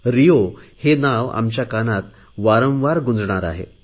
Rio हे नाव आमच्या कानात वारंवार गुंजणार आहे